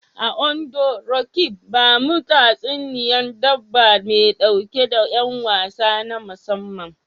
A Ondo, Roqeeb, bamu tatsuniyar dabba mai ɗauke da y'an wasa na musamman.